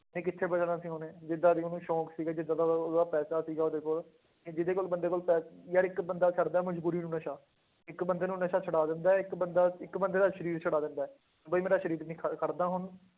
ਨਹੀਂ ਕਿੱਥੇ ਬਚਣਾ ਸੀ ਉਹਨੇ, ਜਿੱਦਾਂ ਦੇ ਉਹਨੂੰ ਸ਼ੌਂਕ ਸੀਗੇ ਜਿੱਦਾਂ ਦਾ ਉਹ, ਉਹਦਾ ਪੈਸਾ ਸੀਗਾ ਉਹਦੇ ਕੋਲ, ਕਿ ਜਿਹਦੇ ਕੋਲ ਬੰਦੇ ਕੋਲ ਪੈ ਯਾਰ ਇੱਕ ਬੰਦਾ ਕਰਦਾ ਮਜ਼ਬੂਰੀ ਨੂੰ ਨਸ਼ਾ, ਇੱਕ ਬੰਦੇ ਨੂੰ ਨਸ਼ਾ ਛਡਾ ਦਿੰਦਾ ਹੈ ਇੱਕ ਬੰਦਾ ਇੱਕ ਬੰਦੇ ਦਾ ਸਰੀਰ ਛੁਡਾ ਦਿੰਦਾ ਹੈ, ਵੀ ਮੇਰਾ ਸਰੀਰ ਨੀ ਖੜ ਖੜਦਾ ਹੁਣ